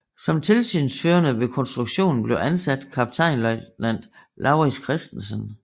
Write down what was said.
Som tilsynsførende ved konstruktionen blev ansat kaptajnløjtnant Laurits Christensen